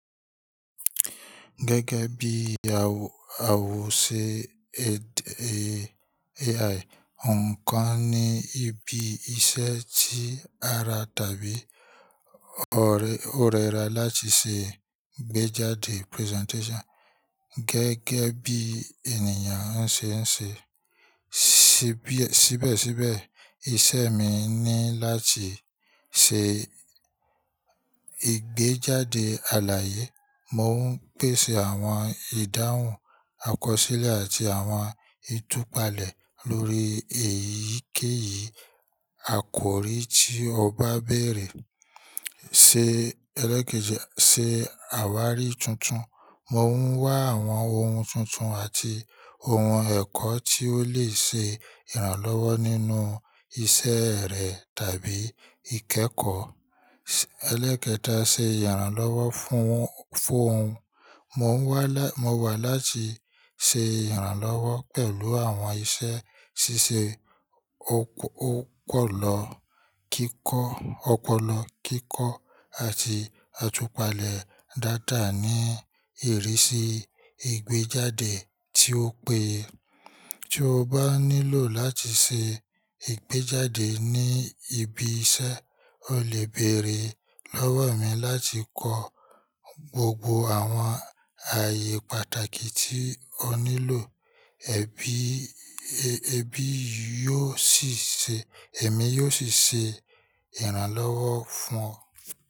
Gẹ́gẹ́ bí awòse AI, nǹkan ní ibi iṣẹ́ ti ara tàbí ọ̀rẹ́ra láti ṣe ìgbéjáde presentation gẹ́gẹ́ bí ènìyàn ń ṣe ń ṣe. Síbẹ̀síbẹ̀, iṣẹ́ mi ni láti ṣe ìgbéjáde àlàyé. Mo ń pèsè àwọn ìdáhùn àkọsílẹ̀ àti àwọn ìtúpalẹ̀ lórí èyíkéyìí. Àkòrí tí ọ bá bèrè, se ṣe àwárí tuntun, mo ń wá àwọn ohun tuntun àti ohun ẹ̀kọ́ tí ó lè se ìrànlọ́wọ́ nínú isẹ́ rẹ̀ tàbí ìkẹ́kọ̀ọ́. Elégédé ṣe ìrànlọ́wọ́ fún fun òun. Mo wa la Mo wà láti ṣe ìrànlọ́wọ́ pẹ̀lú àwọn iṣẹ́ ṣíṣe ọpọlọ kíkọ́ àti àtúpalẹ̀ dáadáa ní ìrísí ìgbéjáde tí ó péye. Tí o bá nílò láti ṣe ìgbéjáde ní ibi iṣẹ́, o lè bèrè lọ́wọ́ mi láti kọ gbogbo àwọn ààyè pàtàkì tí o nílò, ẹbí èmi yóò sì ṣe ìrànlọ́wọ́ fún ọ.